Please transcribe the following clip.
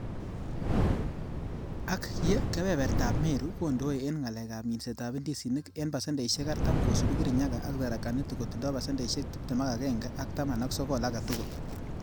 Ak ye kebebert ab Meru kondoe en ngalekab minsetab indisinik en pasendeisiek Artam, kosiibu Kirinyaga ak Tharaka Nithi kotindo pasendeisiek tibtem ak agenge ak taman ak sogol agetugul.